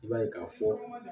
I b'a ye k'a fɔ